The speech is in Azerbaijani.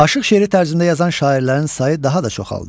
Aşıq şeiri tərzində yazan şairlərin sayı daha da çoxaldı.